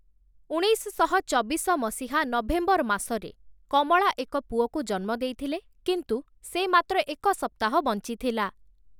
ଉଣେଇଶଶହ ଚବିଶ ମସିହା ନଭେମ୍ବର ମାସରେ କମଳା ଏକ ପୁଅକୁ ଜନ୍ମ ଦେଇଥିଲେ, କିନ୍ତୁ ସେ ମାତ୍ର ଏକ ସପ୍ତାହ ବଞ୍ଚିଥିଲା ।